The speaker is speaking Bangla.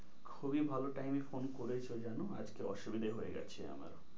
খুবই ভালো টাইমে phone করেছো জানো? আজকে অসুবিধা হয়ে গেছে আমার,